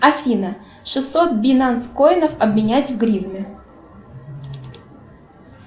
афина шестьсот бинанс коинов обменять в гривны